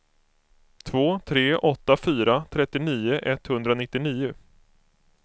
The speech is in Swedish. två tre åtta fyra trettionio etthundranittionio